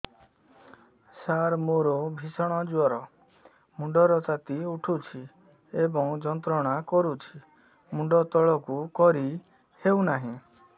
ସାର ମୋର ଭୀଷଣ ଜ୍ଵର ମୁଣ୍ଡ ର ତାତି ଉଠୁଛି ଏବଂ ଯନ୍ତ୍ରଣା କରୁଛି ମୁଣ୍ଡ ତଳକୁ କରି ହେଉନାହିଁ